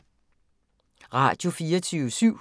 Radio24syv